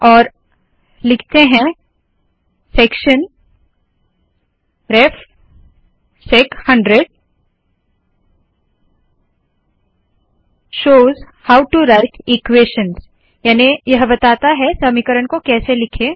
और लिखते है section ref SEC 100 shows how to write equations याने यह बताता है समीकरण को कैसे लिखें